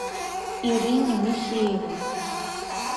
ирине михеевой